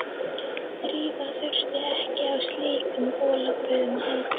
Drífa þurfti ekki á slíkum bolabrögðum að halda.